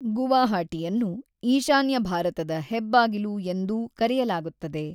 ಗುವಾಹಟಿಯನ್ನು "ಈಶಾನ್ಯ ಭಾರತದ ಹೆಬ್ಬಾಗಿಲು" ಎಂದೂ ಕರೆಯಲಾಗುತ್ತದೆ.